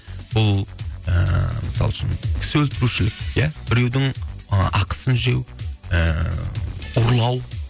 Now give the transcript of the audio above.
бұл ыыы мысалы үшін кісі өлтірушілік иә біреудің ы ақысын жеу ы ұрлау